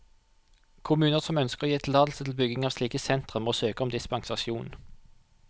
Kommuner som ønsker å gi tillatelse til bygging av slike sentre, må søke om dispensasjon.